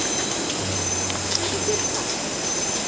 Hvað ertu að gera þar?